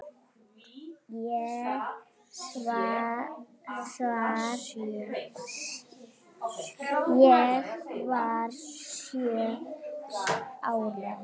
Ég var sjö ára.